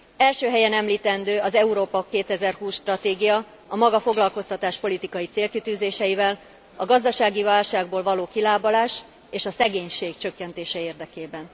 Első helyen említendő az Európa 2020 stratégia, a maga foglalkoztatáspolitikai célkitűzéseivel, a gazdasági válságból való kilábalás és a szegénység csökkentése érdekében.